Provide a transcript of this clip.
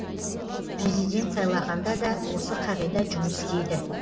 президент сайлағанда да осы қағида жұмыс істейді